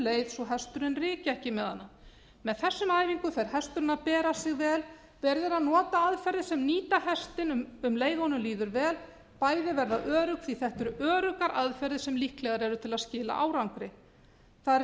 leið svo hesturinn ryki ekki með hana með þessum æfingum fer hesturinn að bera sig vel verið er að nota aðferðir sem nýta hestinn um leið og honum líður vel bæði verða örugg því þetta eru öruggar aðferðir sem líklegar eru til að skila árangri það er líka